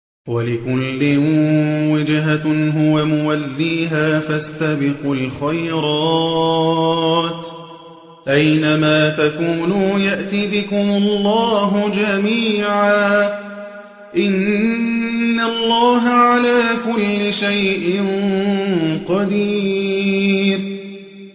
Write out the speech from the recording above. وَلِكُلٍّ وِجْهَةٌ هُوَ مُوَلِّيهَا ۖ فَاسْتَبِقُوا الْخَيْرَاتِ ۚ أَيْنَ مَا تَكُونُوا يَأْتِ بِكُمُ اللَّهُ جَمِيعًا ۚ إِنَّ اللَّهَ عَلَىٰ كُلِّ شَيْءٍ قَدِيرٌ